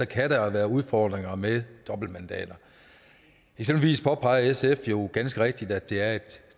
kan der være udfordringer med dobbeltmandater eksempelvis påpeger sf jo ganske rigtigt at det er et